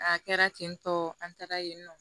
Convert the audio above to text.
A kɛra ten tɔ an taara yen nɔ